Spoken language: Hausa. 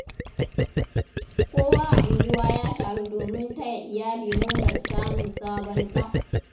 Kowa a unguwa ya taru domin taya iyali murnar samun sabon ɗa.